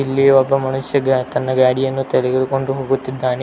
ಇಲ್ಲಿ ಒಬ್ಬ ಮನುಷ್ಯ ಗ ತನ್ನ ಗಾಡಿಯನ್ನು ತೆಗೆದುಕೊಂಡು ಹೋಗುತ್ತಿದ್ದಾನೆ.